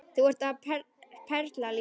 Þú ert perla Lína!